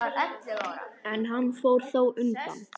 En hann fór þá undan.